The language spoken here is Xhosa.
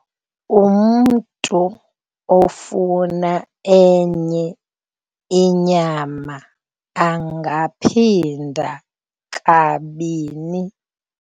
Umntu ofuna enye inyama angaphinda kabini.